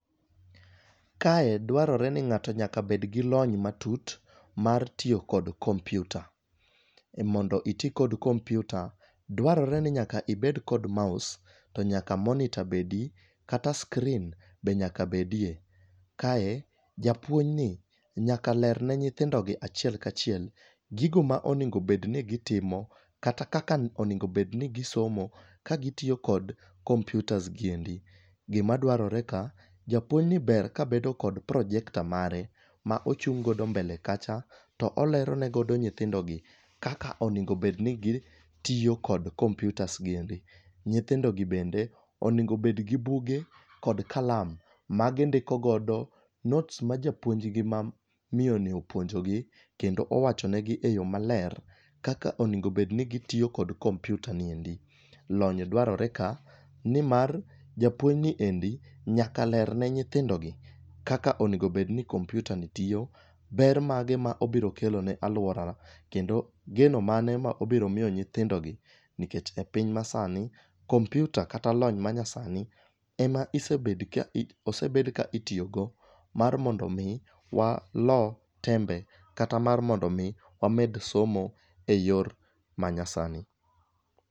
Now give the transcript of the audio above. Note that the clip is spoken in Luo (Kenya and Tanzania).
Kae dwarore ni ng'ato nyaka bed gi lony matut mar tiyo kod kompyuta, mondo iti kod kompyuta, dwarore ni nyaka ibed kod mouse to nyaka monitor bedi, kata screen be nyaka bedie, kae, japuonjni nyaka ler ne nyithindogi achiel kachiel gigo ma onego obedni gitimo, kata kaka onego obedni gisomo kagitiyo kod kompyutas gi endi. gima dwarore ka, japuonjni ber kabedo kod projector mare ma ochung' godo mbele kacha to olero ne godo nyithindogi kaka onego obedni gitiyo kod kompyutasgi endi. Nyithindogi bende onego obed gi buge kod kalam magindiko godo notes ma japuonjgi ma miyoni puonjogi, kendo owacho negi e yo maler kaka onego obedni gitiyo kod kompyutani endi. Lony dwarore ka nimar japuonjni endi nyaka ler ne nyithindogi kaka onego obedni kompyutani tiyo ,ber mage ma obiro kelo ne alworana, kendo geno mane ma obiro miyo nyithindogi, nikech e piny masani, kompyuta kata lony manyasani, ema osebed ka itiyogo mar mondo omi walo tembe kata mar mondo omi wamed somo e yor manyasani.